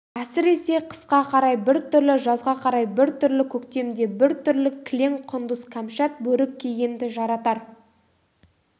әсіресе қысқа қарай бір түрлі жазға қарай бір түрлі көктемде бір түрлі кілең құндыз кәмшат бөрік кигенді жаратар